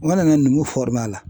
mana numu la.